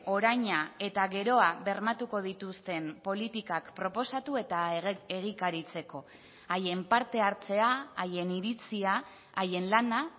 oraina eta geroa bermatuko dituzten politikak proposatu eta egikaritzeko haien parte hartzea haien iritzia haien lana